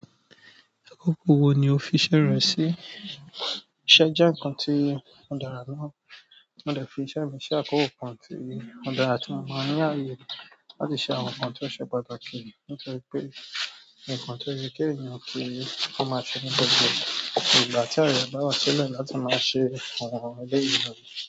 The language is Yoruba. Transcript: Akoko wo ni o fi iṣẹ́ rẹ sí? Iṣẹ́ jẹ́ nǹkan tí ó dára ná. Mo dẹ̀ fi iṣẹ́ mi ṣe àkókò kan tí ó dára tí mo máa ń ni ààyè láti ṣe àwọn nǹkan tó ṣe pàtàkì. Nítorí pé, nǹkan tó yẹ kí èèyàn ki o máa ṣe ní gbogbo ni ìgbà tí a yẹ ba wa sílẹ̀ láti máa ṣe àwọn ẹlẹ́yii náà.